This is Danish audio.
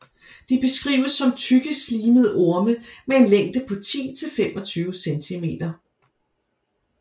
De beskrives som tykke slimede orme med en længde på 10 til 25 cm